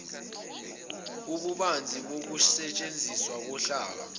ububanzi bokusetshenziswa kohlaka